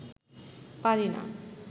পারি না